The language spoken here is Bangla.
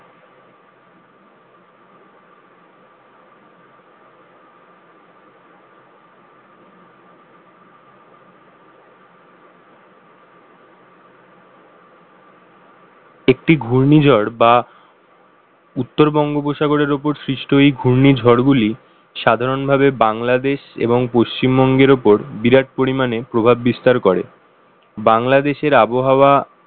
একটি ঘূর্ণিঝড় বা উত্তর বঙ্গোপসাগরের উপর সৃষ্টই ঘূর্ণিঝড় গুলি সাধারণভাবে বাংলাদেশ এবং পশ্চিমবঙ্গের ওপর বিরাট পরিমানে প্রভাব বিস্তার করে বাংলাদেশের আবহাওয়া